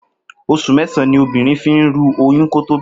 Os̩ù mé̩sàn-án ni obìnrin fi ń ru oyún kí ó tó bí o̩mo̩